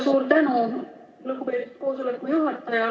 Suur tänu, lugupeetud koosoleku juhataja!